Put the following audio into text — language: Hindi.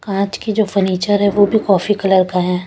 कांच की जो फर्नीचर है वो भी कॉफ़ी कलर का है ।